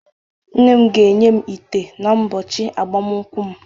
Nne m ga-enye m ite n'ụbọchị agbamakwụkwọ m